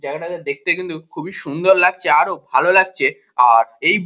জায়গাটাকে দেখতে কিন্তু খুবই সুন্দর লাগছে ভালো লাগছে আর এই--